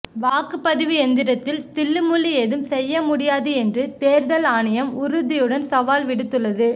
வாக்குப்பதிவு எந்திரத்தில் தில்லுமுல்லு ஏதும் செய்ய முடியாது என்று தேர்தல் ஆணையம் உறுதியுடன் சவால் விடுத்துள்ளது